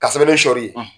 Ka sɛbɛn sɔli